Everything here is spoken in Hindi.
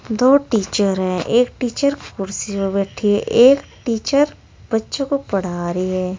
दो टीचर है एक टीचर कुर्सी पर बैठी है एक टीचर बच्चों को पढ़ा रही है।